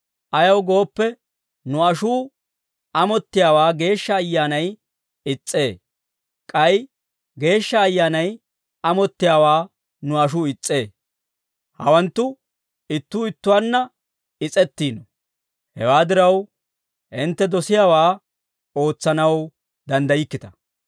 Ayaw gooppe, nu ashuu amottiyaawaa Geeshsha Ayyaanay is's'ee; k'ay Geeshsha Ayyaanay amottiyaawaa nu ashuu is's'ee; hawanttu ittuu ittuwaanna is'ettiino. Hewaa diraw, hintte dosiyaawaa ootsanaw danddaykkita.